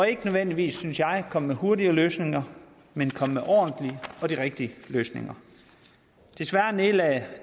ikke nødvendigvis synes jeg komme med hurtige løsninger men komme med ordentlige og de rigtige løsninger desværre nedlagde